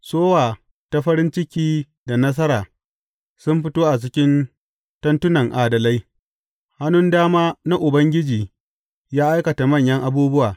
Sowa ta farin ciki da nasara sun fito a cikin tentunan adalai, Hannun dama na Ubangiji ya aikata manyan abubuwa!